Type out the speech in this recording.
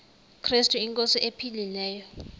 krestu inkosi ephilileyo